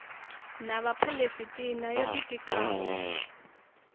na vhaphalestina yo ḓi tikaho